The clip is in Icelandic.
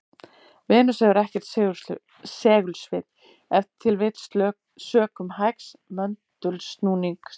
Venus hefur ekkert segulsvið, ef til vill sökum hægs möndulsnúnings.